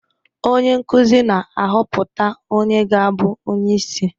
Onye nkuzi na-ahọpụta onye ga-abụ onye isi